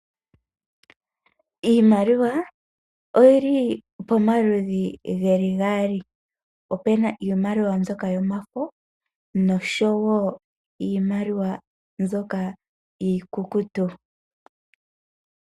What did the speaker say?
Iimaliwa oyili pomaludhi geli gaali opu na iimaliwa mbyoka yomafo oshowo iimaliwa mbyoka iikukutu.